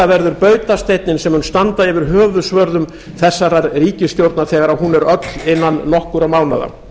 verður bautasteinninn sem mun standa yfir höfuðsvörðum þessarar ríkisstjórnar þegar hún er öll innan nokkurra mánaða